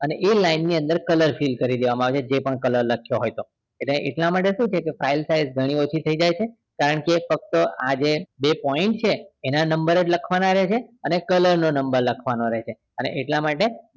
એ line ની અંદર color fill કરી દેવામાં આવે છે જે પણ color લખ્યો હોય એ એટલે માટે શું કે file size ધણી ઓછી થઇ જાય છે ફક્ત આ જે બે point છે એના number જ લખવાના રહે છે અને color નો number લખવાનો રહે છે અને એટલા માટે